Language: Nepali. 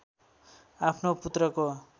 आफ्नो पुत्रको